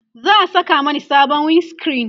za'a Saka Mani sabon wind screen